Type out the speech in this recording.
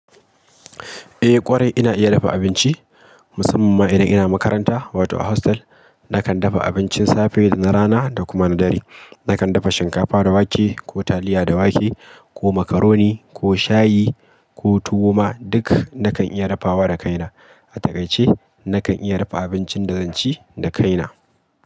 Eh ƙwarai ina iya dafa abinci, musamman ma idan ina makaranta wato a hostel. Nakan dafa abincin safe da na rana da kuma na dare. Nakan dafa shinkafa da wake ko taliya da wake ko makaroni ko shayi ko tuwo ma duk nakan iya dafawa da kaina. A takaice, nakan iya dafa abincin da zan ci da kaina.